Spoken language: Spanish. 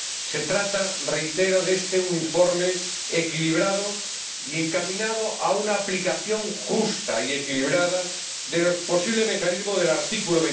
Se trata, reitero, de un informe equilibrado y encaminado a una aplicación justa y equilibrada del posible mecanismo del artículo